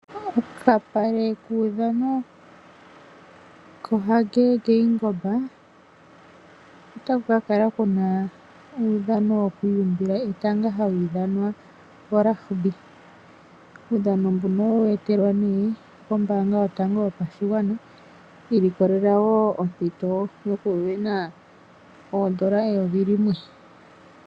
Okapale kuudhano kaHage Geingob, otaku kakala kuna uudhano wokwiiyumbila etanga, hawu ithanwa oRugby. Uudhano mboka owa longekidhwa nee kombaanga yotango yopashigwana, ilikolela ompito yoku sindana oondola eyovi limwe.